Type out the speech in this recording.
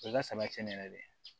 O ka sabati ne yɛrɛ de ye